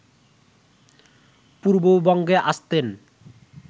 পূর্ববঙ্গে আসতেন